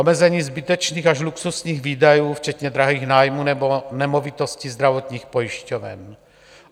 Omezení zbytečných až luxusních výdajů včetně drahých nájmů nebo nemovitostí zdravotních pojišťoven.